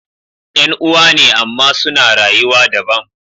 yan'uwa ne amma suna rayuwa dabam